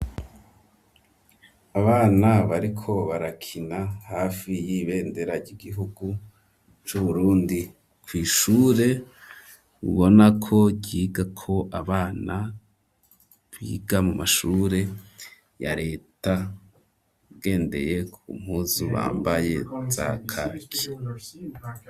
Abana bariko barakina, hafi y'ibendera ry'igihugu c'Uburundi, kw'ishure ubona ko ryigako abana biga mu mashure ya leta, ugendeye ku mpuzu bambaye za kaki.